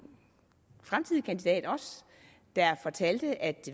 fremtidig kandidat der fortalte at